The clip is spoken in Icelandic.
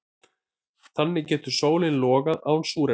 Þannig getur sólin logað án súrefnis.